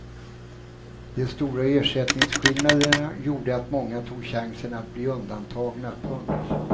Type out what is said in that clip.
De stora ersättningsskillnaderna gjorde att många tog chansen att bli undantagna. punkt